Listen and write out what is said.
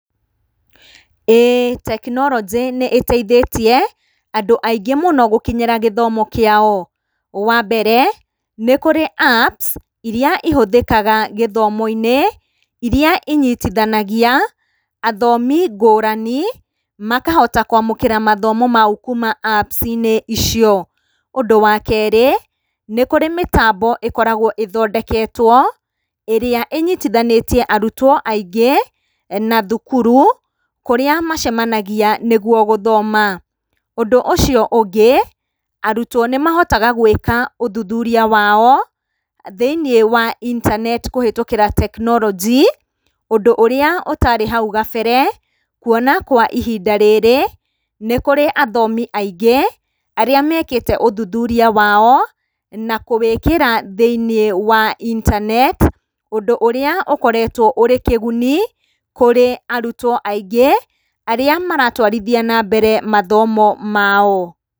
ĩĩ tekinoronjĩ nĩĩteithĩtie andũ aingĩ mũno gũkinyĩra gĩthomo kĩao. Wa mbere, nĩ kũrĩ apps irĩa ihũthĩkaga gĩthomo-inĩ, irĩa inyitithanagia athomi ngũrani makahota kwamũkĩra mathomo mau kuma apps inĩ icio. Ũndũ wa kerĩ, nĩ kũrĩ mĩtambo ĩkoragwo ĩthondeketwo ĩrĩa ĩnyitithanitie arutwo aingĩ na thukuru kũrĩa macemanagia nĩguo gũthoma. Ũndũ ũcio ũngĩ, arutwo nĩmahotaga gwĩka ũthuthuria wao thĩiniĩ wa intaneti kũhĩtũkĩra tekinoronjĩ, ũndũ ũrĩa ũtarĩ hau kabere kuona kwa ihinda rĩrĩ, nĩ kũrĩ athomi aingĩ arĩa mekĩte ũthuthuria wao na kũwĩkĩra thĩiniĩ wa intaneti, ũndũ ũrĩa ũkoretwo wĩ kĩguni kũrĩ arutwo aingĩ arĩa maratwarithia na mbere mathomo mao.